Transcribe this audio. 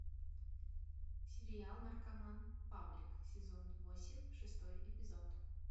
сериал наркоман павлик сезон восемь шестой эпизод